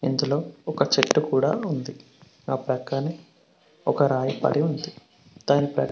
లో ఒక చెట్టు కూడా ఉంది ఆ పక్కనే ఒక రాయి పడి ఉంది దాని--